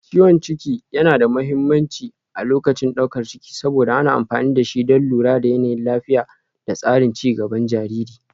Ciwon ciki yana da mahimmanci a lokacin daukar ciki saboda ana amfani da shi don lura da yanayin lafiya da tsarin ci gaban jariri